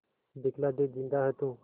दिखला दे जिंदा है तू